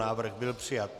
Návrh byl přijat.